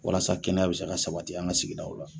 Walasa kɛnɛya bɛ se ka sabati an ka sigidaw la.